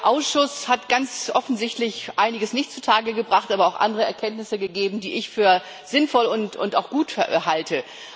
Der Ausschuss hat ganz offensichtlich einiges nicht zutage gebracht, aber auch andere Erkenntnisse ergeben, die ich für sinnvoll und auch gut halte.